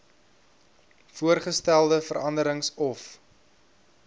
voorgestelde veranderings of